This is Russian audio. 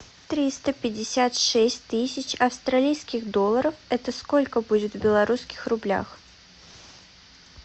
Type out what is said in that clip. триста пятьдесят шесть тысяч австралийских долларов это сколько будет в белорусских рублях